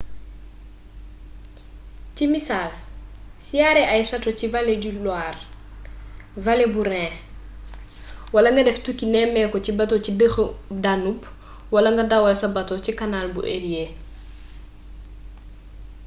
ci misaal siyaare ay château ci vallé bu loire vallée bu rhin wala nga def tukki nemmeeku ci bato ci dexu danube wala nga dawal sa bateau ci canal bu érié